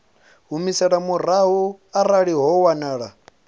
humiselwa murahu arali ho wanala